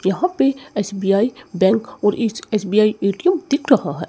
यहां पे SBI bank और एस_बी_आई ए_टी_एम दिख रहा है।